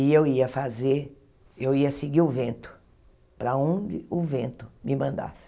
E eu ia fazer, eu ia seguir o vento, para onde o vento me mandasse.